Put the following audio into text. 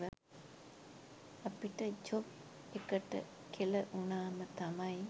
අපිට ජොබ් එකට කෙල උනාම තමයි